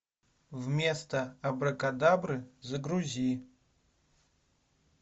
вместо абракадабры загрузи